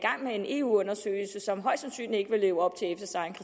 med en eu undersøgelse som højst sandsynligt ikke vil leve op